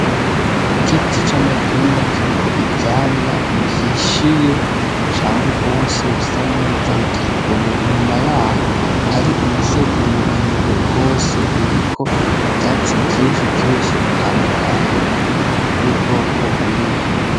Igiti c'amatunda kiriko ivyamwa bihishiye cane gwose bisa neza biteye igomwe inyuma yaho hari umusozi muremure gwose uriko ivyatsi vyinshi vyinshi bitandukanye vy'ubwoko bwinshi.